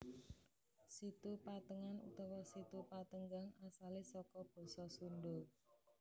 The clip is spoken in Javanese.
Situ Patengan utawa Situ Patenggang asale saka basa Sunda